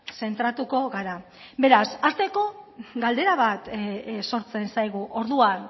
zentratuko gara beraz hasteko galdera bat sortzen zaigu orduan